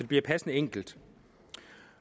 bliver passende enkelt